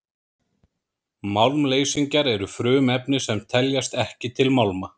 málmleysingjar eru frumefni sem teljast ekki til málma